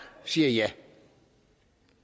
siger ja